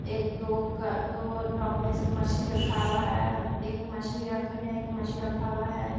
एक दो का दो टो अपने से मछली रखा हुआ है। एक मछली रख रहें हैं एक मछली रखा हुआ है।